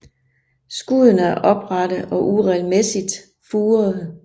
Skuddene er oprette og uregelmæssigt furede